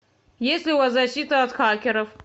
есть ли у вас защита от хакеров